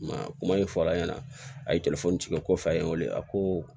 Ma kuma min fɔra a ɲɛna a ye telefɔni tigɛ ko f'a ye n weele a ko